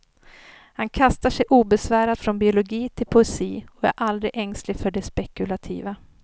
Han kastar sig obesvärat från biologi till poesi och är aldrig ängslig för det spekulativa.